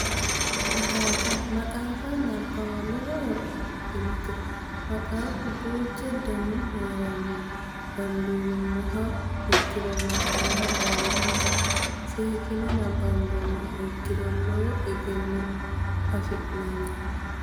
Maxaaffa maxaaffa nabbawa lowo horo afidhinote maxxafu duuchu danihu heeranno dandiinummoha ikkiro maxaafa baalanka seekkine nabbambummoha ikkiro lowo egenno afi'neemmo.